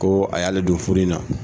Ko a y'ale don nin furu in na